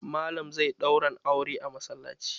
Mallam zai ɗauran auran a masallaci.